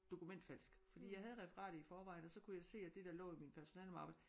Dokumentfalsk fordi jeg havde referatet i forvejen og så kunne jeg se at det der lå i min personalemappe